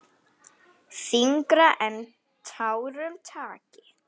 Þyngra en tárum taki!